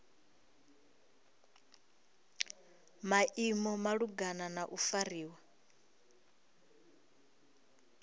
maimo malugana na u fariwa